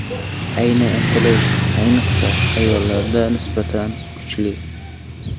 Ayni intilish, ayniqsa, ayollarda nisbatan kuchli.